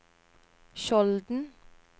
Skjolden